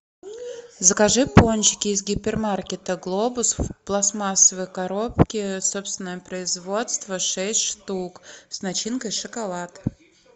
закажи пончики из гипермаркета глобус в пластмассовой коробке собственное производство шесть штук с начинкой шоколад